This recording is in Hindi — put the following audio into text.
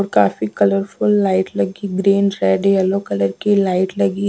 और काफी कलरफुल लाइट लगी ग्रीन रेड येलो कलर की लाइट लगी।